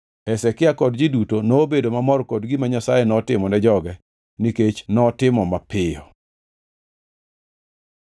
Hezekia kod ji duto nobedo mamor kod gima Nyasaye notimone joge, nikech notimo mapiyo.